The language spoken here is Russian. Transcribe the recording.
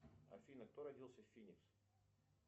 афина кто родился в финикс